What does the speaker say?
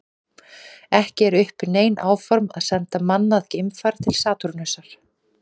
Ekki eru uppi nein áform að senda mannað geimfar til Satúrnusar.